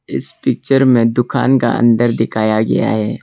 इस पिक्चर में दुकान का अंदर दिखाया गया है।